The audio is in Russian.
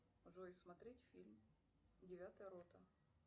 джой смотреть фильм девятая рота